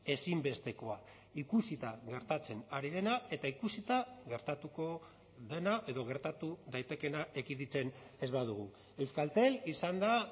ezinbestekoa ikusita gertatzen ari dena eta ikusita gertatuko dena edo gertatu daitekeena ekiditen ez badugu euskaltel izan da